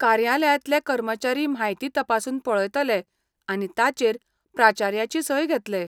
कार्यालयांतले कर्मचारी म्हायती तपासून पळयतले आनी ताचेर प्राचार्याची सय घेतले.